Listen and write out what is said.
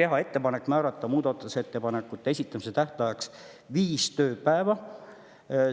teha ettepanek määrata muudatusettepanekute esitamise tähtajaks viis tööpäeva.